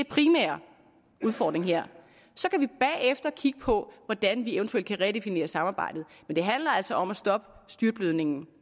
primære udfordring her så kan vi bagefter kigge på hvordan vi eventuelt kan redefinere samarbejdet men det handler altså om at stoppe styrtblødningen